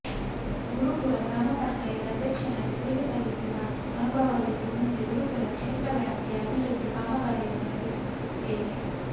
ಗುರುಪುರ ಗ್ರಾಮಪಂಚಾಯತ್ ಅಧ್ಯಕ್ಷನಾಗಿ ಸೇವೆ ಸಲ್ಲಿಸಿದ ಅನುಭವವಿದ್ದು ಮುಂದೆ ಗುರುಪುರ ಕ್ಷೇತ್ರವ್ಯಾಪ್ತಿಯ ಅಭಿವೃದ್ದಿ ಕಾಮಾಗಾರಿಯನ್ನು ನಡೆಸುತ್ತೇನೆ